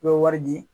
I bɛ wari di